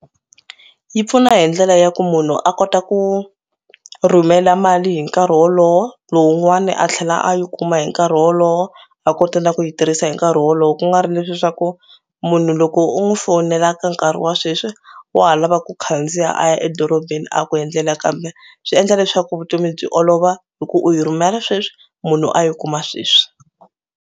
Yi pfuna hi ndlela ya ku munhu a kota ku rhumela mali hi nkarhi wolowo lowun'wani a tlhela a yi kuma hi nkarhi wolowo a kota na ku yi tirhisa hi nkarhi wolowo. Ku nga ri leswiya swa ku munhu loko u n'wi fonela ka nkarhi wa sweswi wa ha lava ku khandziya a ya edorobeni a ku endlela kambe swi endla leswaku vutomi byi olova hi ku u yi rhumela sweswi munhu a yi kuma sweswi.